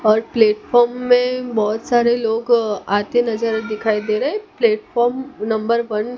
और प्लेटफार्म में बहोत सारे लोग आते नजर दिखाई दे रहे है प्लेटफार्म नंबर वन --